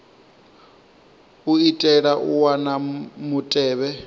u itela u wana mutevhe